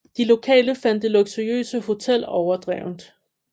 De lokale fandt det luksuriøse hotel overdrevent